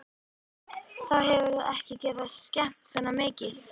Þá hefðu þau ekki getað skemmt svona mikið.